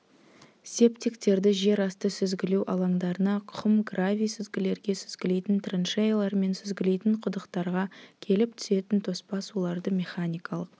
септиктерді жер асты сүзгілеу алаңдарына құм-гравий сүзгілерге сүзгілейтін траншеялар мен сүзгілейтін құдықтарға келіп түсетін тоспа суларды механикалық